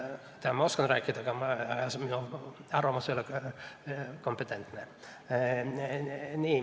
No ma oskan rääkida, aga minu arvamus ei ole kompetentne.